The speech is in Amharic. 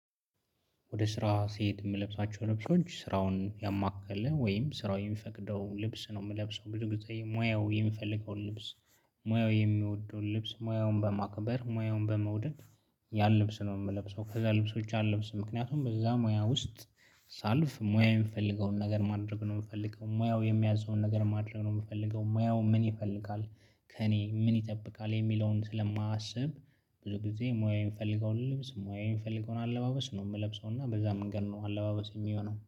ወደ ስራ ስሄድ የምለብሳቸው ልብሶች ስራውን ያማከለ ወይም ስራው የሚፈቅደው ልብስ ነው የምለብሰው ብዙ ጊዜ ሙያው የሚፈልገውን ልብስ ሙያው የሚወደውን ልብስ ሙያውን በማክበር ሙያውን በመውደድ ያን ልብስ ነው የምለብሰው። ከዛ ልብሶች አልለብስም ምክንያቱም በዛ ሙያ ውስጥ። ሳልፍ ሙያ የምፈልገውን ነገር ማድረግ ነው የምፈልገው፤ ሙያው የሚያዘውን ነገር ማድረግ ነው የምፈልገው፤ ሙያው ምን ይፈልጋል ከእኔ ምን ይጠብቃል? የሚለውን ስለማስብ። ብዙ ጊዜ ሙያዬን የምፈልገውን ልብስ ሙያዬን የምፈልገውን አለባበስ ነው የምለብሰው እና በዛ መንገድ ነው አለባበስ የሚሆነው